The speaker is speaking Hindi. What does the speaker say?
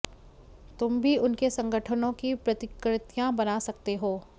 तुम भी उनके संगठनों की प्रतिकृतियां बना सकते हैं